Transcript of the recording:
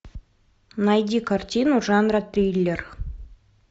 найди картину жанра триллер